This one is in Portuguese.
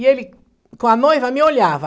E ele, com a noiva, me olhava.